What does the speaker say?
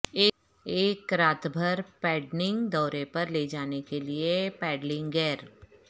ایک رات بھر پیڈنگنگ دورے پر لے جانے کے لئے پیڈلنگ گیئر